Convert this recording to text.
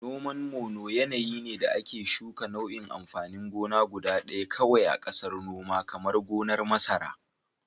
Noman Mono yanayi ne da ake shuka nau'in amfanin gona guda ɗaya kawai a ƙasar noma, kamar gonar masara.